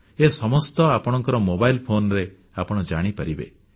ଏ ସମସ୍ତ ଆପଣଙ୍କ mobile phone ରେ ଆପଣ ଜାଣିପାରିବେ